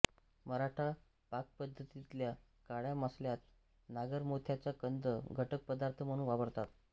मराठा पाकपद्धतीतल्या काळ्या मसाल्यात नागरमोथ्याचा कंद घटकपदार्थ म्हणून वापरतात